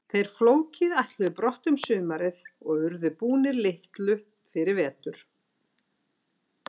Þeir Flóki ætluðu brott um sumarið og urðu búnir litlu fyrir vetur.